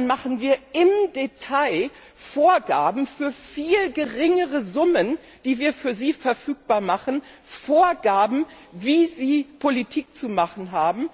Den Ländern machen wir im Detail Vorgaben für viel geringere Summen, die wir für sie verfügbar machen, Vorgaben, wie sie Politik zu machen haben,